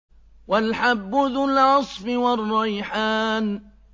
وَالْحَبُّ ذُو الْعَصْفِ وَالرَّيْحَانُ